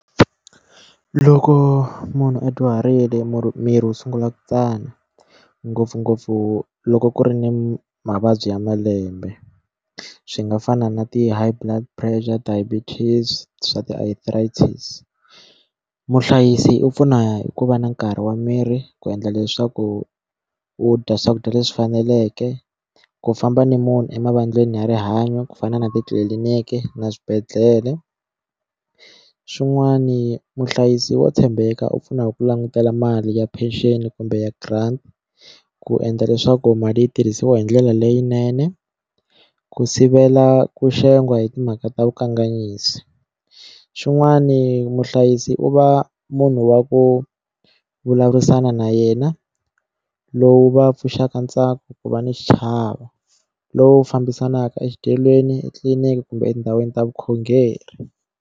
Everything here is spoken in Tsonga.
Loko munhu a dyuharile miri wu sungula ku tsana ngopfungopfu loko ku ri ni mavabyi ya malembe swi nga fana na ti high blood pressure diabetes swa ti arthritis muhlayisi u pfuna hi ku va na nkarhi wa miri ku endla leswaku u dya swakudya leswi faneleke ku famba ni munhu emavaleni ya rihanyo ku fana na titliliniki na swibedhlele xin'wani muhlayisi wa tshembeka u pfunaka ku langutela mali ya pension kumbe grant ku endla leswaku mali yi tirhisiwa hi ndlela leyinene ku sivela ku xengwa hi timhaka ta vukanganyisi xin'wani muhlayisi u va munhu wa ku vulavurisana na yena lowu va pfuxaka ntsako ku va ni xichava lowu fambisanaka exidyelweni etliliniki kumbe etindhawini ta vukhongeri.